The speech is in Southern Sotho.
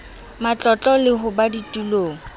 matlotlo le ho ba ditulong